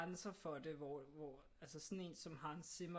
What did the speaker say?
Grænser for det hvor hvor altså sådan en som Hans Zimmer